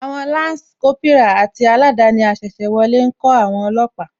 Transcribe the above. Àwon Lansi Kópírà àti aladani asese wọlé ńkó àwon olóòpà